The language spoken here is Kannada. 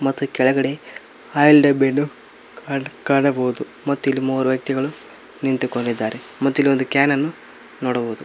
ಮತ್ತೆ ಕೆಳಗಡೆ ಆಯಿಲ್ ಡಬ್ಬಿಯನ್ನು ಕಾಣಬಹುದು ಮತ್ತು ಇಲ್ಲಿ ಮೂವರು ವ್ಯಕ್ತಿಗಳು ನಿಂತುಕೊಂಡಿದ್ದಾರೆ ಮತ್ತಿಲ್ಲೊಂದು ಕ್ಯಾನ್ ಅನ್ನು ನೋಡಬಹುದು.